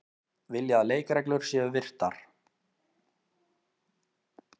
Vilja að leikreglur séu virtar